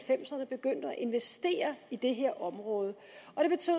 investere i det her område